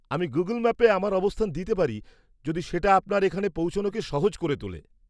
আমি গুগল ম্যাপে আমার অবস্থান দিতে পারি যদি সেটা আপনার এখানে পৌঁছনোকে সহজ করে তোলে।